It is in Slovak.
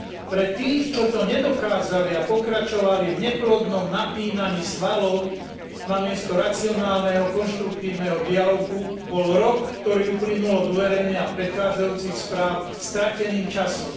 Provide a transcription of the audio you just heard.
Pre tých, čo to nedokázali a pokračovali v neplodnom napínaní svalov namiesto racionálneho konštruktívneho dialógu, bol rok, ktorý uplynul od uverejnenia predchádzajúcich správ, strateným časom.